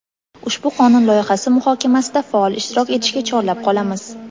Ushbu qonun loyihasi muhokamasida faol ishtirok etishga chorlab qolamiz.